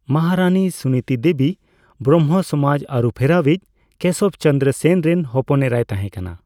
ᱢᱚᱦᱟᱨᱟᱹᱱᱤ ᱥᱩᱱᱤᱛᱤ ᱫᱮᱵᱤ ᱵᱨᱟᱢᱵᱷᱚ ᱥᱚᱢᱟᱡᱽ ᱟᱹᱨᱩᱯᱷᱮᱨᱟᱣᱤᱡ ᱠᱮᱥᱚᱵᱽ ᱪᱚᱱᱫᱨᱚ ᱥᱮᱱ ᱨᱮᱱ ᱦᱚᱯᱚᱱᱮᱨᱟᱭ ᱛᱟᱦᱮᱸᱠᱟᱱᱟ ᱾